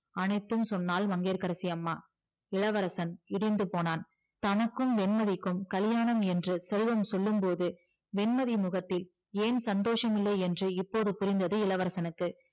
அனைத்தும் சொன்னால் மங்கையகரசி அம்மா இளவரசன் இடிந்து போனான் தனக்கும் வேண்மதிக்கும் கல்லியாணம் என்று செல்வம் சொல்லும்போது வெண்மதி முகத்தில் ஏன் சந்தோசம் இல்லை என்று இப்போது புரிந்தது இளவரசனுக்கு